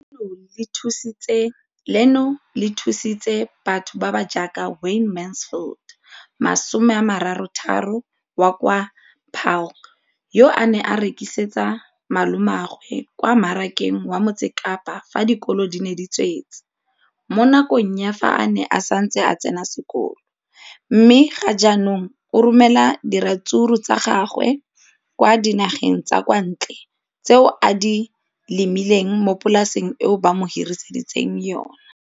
Leno le thusitse batho ba ba jaaka Wayne Mansfield, 33, wa kwa Paarl, yo a neng a rekisetsa malomagwe kwa Marakeng wa Motsekapa fa dikolo di tswaletse, mo nakong ya fa a ne a santse a tsena sekolo, mme ga jaanong o romela diratsuru tsa gagwe kwa dinageng tsa kwa ntle tseo a di lemileng mo polaseng eo ba mo hiriseditseng yona.